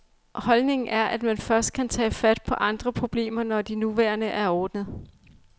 Holdningen er, at man først kan tage fat på andre problemer, når de nuværende er ordnet.